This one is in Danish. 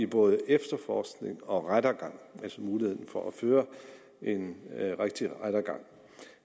både efterforskning og rettergang altså muligheden for at føre en rigtig rettergang